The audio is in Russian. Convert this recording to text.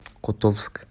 котовск